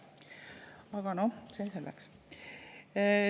Aga noh, see selleks.